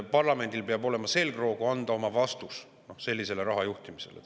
Parlamendil peab olema selgroogu anda oma vastus sellisele raha juhtimisele.